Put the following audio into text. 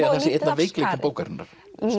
að það sé einn af veikleikum bókarinnar